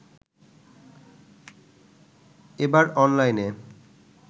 এবার অনলাইনে